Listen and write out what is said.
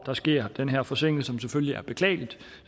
der sker den her forsinkelse selvfølgelig er beklagelig